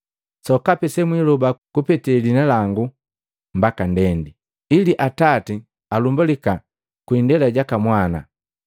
Sokapi semwiloba kupete liina langu mbaka ndendi, ili Atati alumbalika kwii indela jaka Mwana.